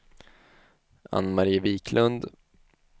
Ann-Mari Viklund